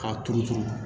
K'a turu turu